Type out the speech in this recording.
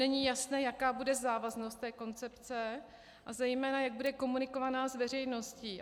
Není jasné, jaká bude závaznost té koncepce a zejména jak bude komunikovaná s veřejností.